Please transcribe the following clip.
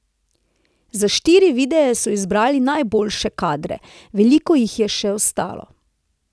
Za štiri videe so izbrali najboljše kadre, veliko jih je še ostalo.